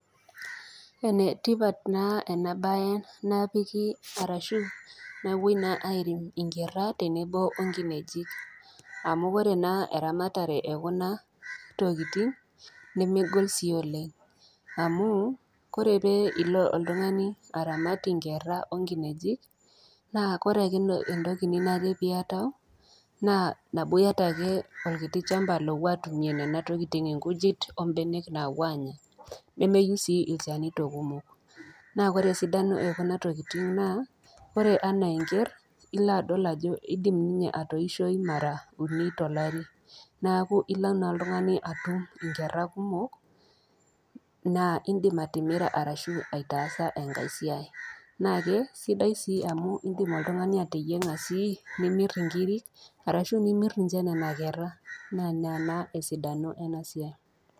Enetipat ena baye napiki ashu nawoi naa airem inkera tenebo o nkinejik amu ore naa eramatare e kuna tokitin nemegol sii oleng. Amu ore pee ilo oltung'ani aramat inkera o nkinejik naa ore ake entoki ninare piatau naa nabo iata ake olkiti shamba lowuo atumie nena tokitin inkujit o mbenek nawuo anya. Nemeyeu sii ilchanito kumok. Naa ore esidano e kuna tokitin naa ore ana enker, ilo adol ajo idim ninye atoishoyu mara uni tolari neaku ilo na oltung'ani atum inkera kumok, na indim atimira naa aitaasa engai siai. Naake sidai sii amu indim oltung'ani ateyeng'a sii nimir inkiri ashu nimir ninye nena kera. Naa ina naa esidano eina siai.